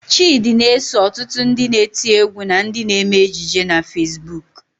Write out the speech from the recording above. Chịdị na-eso ọtụtụ ndị na-eti égwú na ndị na-eme ejije na Fesbuk.